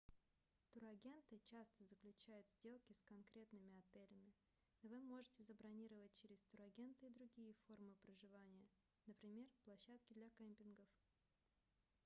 турагенты часто заключают сделки с конкретными отелями но вы можете забронировать через турагента и другие формы проживания например площадки для кемпингов